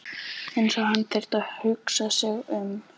Eins og hann þyrfti að hugsa sig um.